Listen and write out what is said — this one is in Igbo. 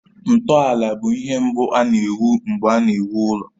Ntọala bụ ihe mbụ a na-ewu mgbe a na-ewu ụlọ.